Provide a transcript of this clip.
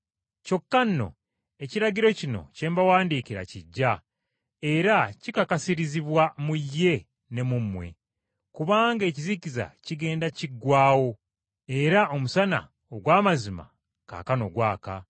Kyokka nno ekiragiro kino kye mbawandiikira kiggya era kikakasirizibwa mu ye ne mu mmwe. Kubanga ekizikiza kigenda kiggwaawo era omusana ogw’amazima kaakano gwaka.